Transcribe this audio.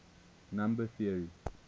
number theory